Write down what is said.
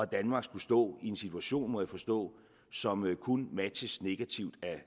danmark skulle stå i en situation må jeg forstå som kun matches negativt af